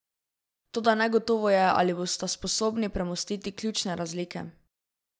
Toda negotovo je, ali bosta sposobni premostiti ključne razlike.